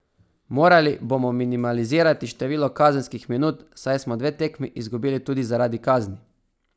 Morali bomo minimalizirati število kazenskih minut, saj smo dve tekmi izgubili tudi zaradi kazni.